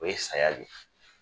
O ye saya de ye